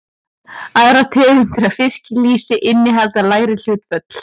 Aðrar tegundir af fiskilýsi innihalda lægri hlutföll.